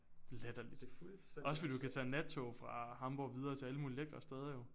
Latterligt. Også fordi du kan tage nattog fra Hamborg videre til alle mulige lækre steder jo